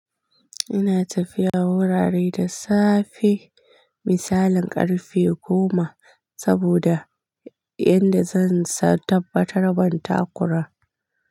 Ina tafiya wurare da safe misalin ƙarfe goma saboda yanda zan tabbatar ban takura.